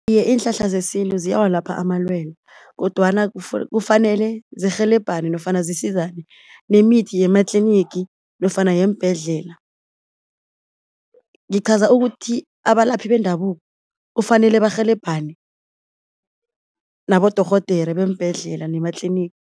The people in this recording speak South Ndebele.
Iye iinhlahla zesintu ziyawalapha amalwele kodwana kufanele zirhelebhane nofana zisizane nemithi yematlinigi nofana yeembhedlela. Ngiqhaza ukuthi abalaphi bendabuko kufanele barhelebhane nabodorhodere beembhedlela nema-clinic.